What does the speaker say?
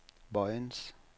Vojens